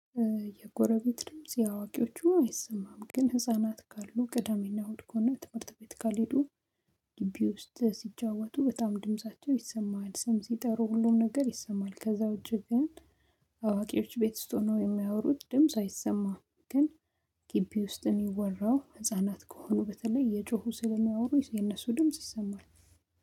የጎረቤት ድምጽ የአዋቂዎቹ አይሰማም ግን ህፃናት ካሉ ቅዳሜና እሁድ ከሆነ ትምህርት ቤት ካልሄዱ ውስጥ ሲጫወቱ በጣም ድምፃቸው ይሰማሃል። ስም ሲጠሩ ሁሉም ነገር ይሰማል። ከዛ ውጪ ግን አዋቂዎች ቤት ውስጥ ሆኖ የሚያወሩት ድምጽ አይሰማም። ግን ግቢ ውስጥ እሚወራው ህፃናት ከሆኑ በተለይ እየጮሁ ስለሚያወሩ የነሱ ድምጽ ይሰማል።